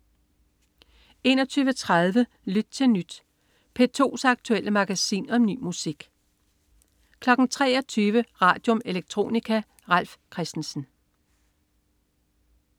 21.30 Lyt til Nyt. P2's aktuelle magasin om ny musik 23.00 Radium. Electronica. Ralf Christensen